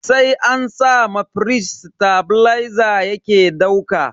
Sai an sa ma firij tebileza yake dauka.